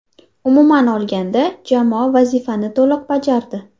Umuman olganda, jamoa vazifani to‘liq bajardi.